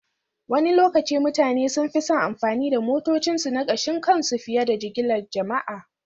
Wani lokaci mutane sun fi son amfani da motocinsu na kashin kansu fiye da jigilar jama'a